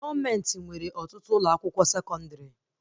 Gọọmenti nwere ọtụtụ ụlọ akwụkwọ sekọndrị